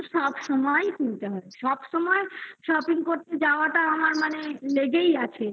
সবসময়ই কিনতে হয়। সবসময় shopping করতে যাওয়াটা আমার মানে লেগেই আছে।